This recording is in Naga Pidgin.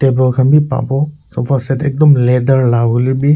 Table Kahn beh papo sofa set ektum letter hoile beh.